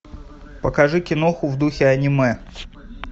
покажи киноху в духе аниме